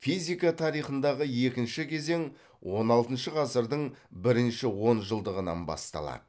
физика тарихындағы екінші кезең он алтыншы ғасырдың бірінші он жылдығынан басталады